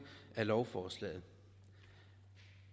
af lovforslaget